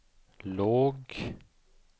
låg